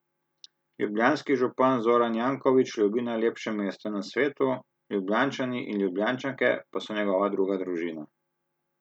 Ljubljanski župan Zoran Janković ljubi najlepše mesto na svetu, Ljubljančani in Ljubljančanke pa so njegova druga družina.